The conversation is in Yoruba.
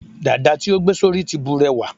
dada ti o gbe sori ti burewa